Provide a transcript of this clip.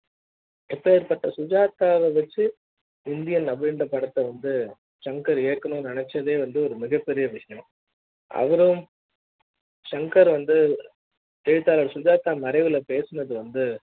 அ ப்பேர்ப்பட்ட சுஜாதா வச்சு இந்தியன் மீண்டும் படத்த வந்து சங்கர்இயக்கனும்னு நெனச்சதே வந்து ஒரு மிகப்பெரிய விஷயம் அவரும் ஷங்கர் வந்து எழுத்தாளர் சுஜாதா மறைவு ல பேசுனது வந்து